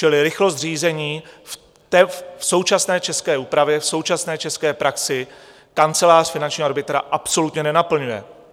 Čili rychlost řízení v současné české úpravě, v současné české praxi, Kancelář finančního arbitra absolutně nenaplňuje.